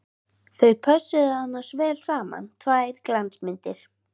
Þau pössuðu annars vel saman, tvær glansmyndir!